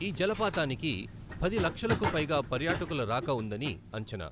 ఈ జలపాతానికి పది లక్షలకు పైగా పర్యాటకుల రాక ఉందని అంచనా.